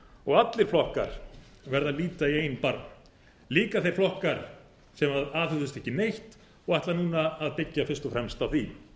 viðvörununum allir flokkar verða að líta í eigin barm líka þeir flokkar sem aðhöfðust ekki neitt og ætla núna að byggja fyrst og fremst á því